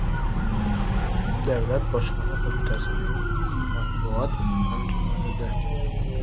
Davlat bojxona qo‘mitasining matbuot anjumanida.